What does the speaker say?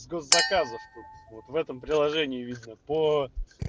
заказов тут вот в этом приложении видно по